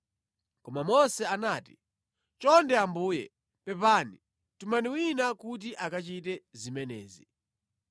Koma Mose anati, “Chonde Ambuye, pepani, tumani wina kuti akachite zimenezi.”